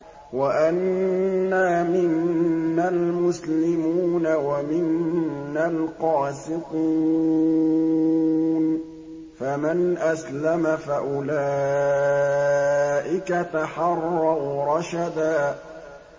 وَأَنَّا مِنَّا الْمُسْلِمُونَ وَمِنَّا الْقَاسِطُونَ ۖ فَمَنْ أَسْلَمَ فَأُولَٰئِكَ تَحَرَّوْا رَشَدًا